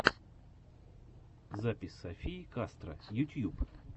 запись софии кастро ютьюб